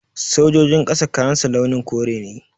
Sojojin ƙasa kayansu launin kore ne